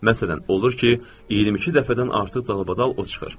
Məsələn, olur ki, 22 dəfədən artıq dalbadal o çıxır.